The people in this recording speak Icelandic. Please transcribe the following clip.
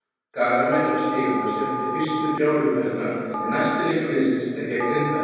Skagamenn eru stigalausir eftir fyrstu þrjár umferðirnar en næsti leikur liðsins er gegn Grindavík.